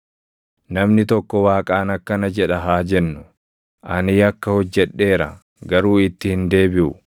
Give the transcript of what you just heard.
“Namni tokko Waaqaan akkana jedha haa jennu; ‘Ani yakka hojjedheera; garuu itti hin deebiʼu.